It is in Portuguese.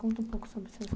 Conta um pouco sobre os seus